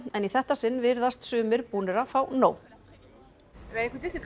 en í þetta sinn virðast sumir búnir að fá nóg leigubílstjóri